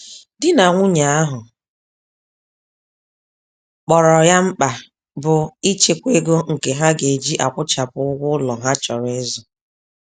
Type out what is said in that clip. Di na nwunye ahụ kpọrọ ya mkpa, bụ ichekwa ego nke ha geji akwụchapụ ụgwọ ụlọ ha chọrọ ịzụ.